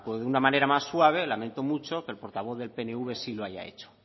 de una manera más suave lamento mucho que el portavoz del pnv sí lo haya hecho